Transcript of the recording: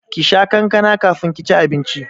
Kisha kankana kafin ki ci abinci!